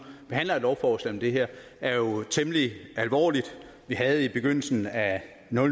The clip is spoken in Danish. behandler et lovforslag om det her er jo temmelig alvorlig vi havde i begyndelsen af